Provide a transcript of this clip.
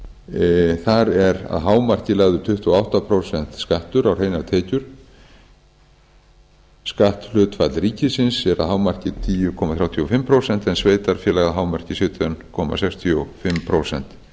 tekjum þar er að hámarki lagður tuttugu og átta prósenta skattur á hreinar tekjur skatthlutfall ríkisins er að hámarki tíu komma þrjátíu og fimm prósent en sveitarfélaga að hámarki sautján komma sextíu og fimm prósent